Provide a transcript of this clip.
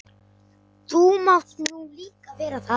Þú mátt nú líka vera það.